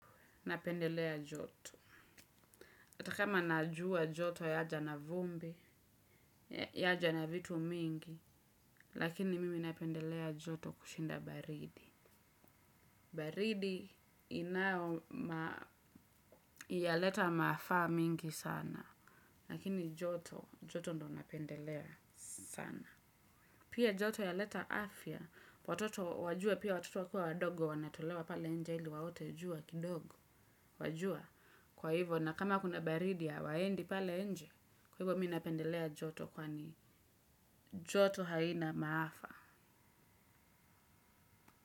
Napendelea joto. Atakama najua joto yaja na vumbi, yaja na vitu mingi, lakini mimi napendelea joto kushinda baridi. Baridi inayoma yaleta maafa mingi sana. Lakini joto, joto ndio napendelea sana. Pia joto yaleta afya, watoto wajue pia watoto wakua wadogo wanatolewa pale nje ili waote jua kidogo. Wajua kwa hivo na kama kuna baridi hawaendi pale nje kwa hivo mi napendelea joto kwani joto haina maafa.